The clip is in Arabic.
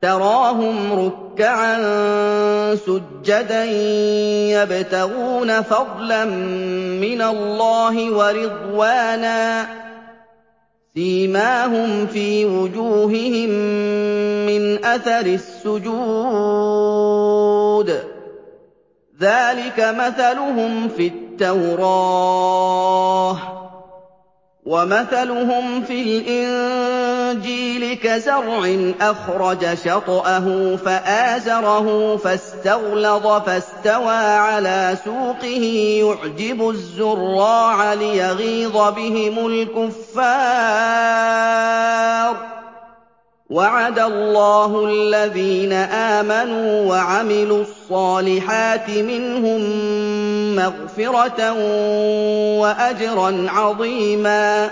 تَرَاهُمْ رُكَّعًا سُجَّدًا يَبْتَغُونَ فَضْلًا مِّنَ اللَّهِ وَرِضْوَانًا ۖ سِيمَاهُمْ فِي وُجُوهِهِم مِّنْ أَثَرِ السُّجُودِ ۚ ذَٰلِكَ مَثَلُهُمْ فِي التَّوْرَاةِ ۚ وَمَثَلُهُمْ فِي الْإِنجِيلِ كَزَرْعٍ أَخْرَجَ شَطْأَهُ فَآزَرَهُ فَاسْتَغْلَظَ فَاسْتَوَىٰ عَلَىٰ سُوقِهِ يُعْجِبُ الزُّرَّاعَ لِيَغِيظَ بِهِمُ الْكُفَّارَ ۗ وَعَدَ اللَّهُ الَّذِينَ آمَنُوا وَعَمِلُوا الصَّالِحَاتِ مِنْهُم مَّغْفِرَةً وَأَجْرًا عَظِيمًا